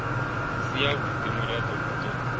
si havhudi murado u do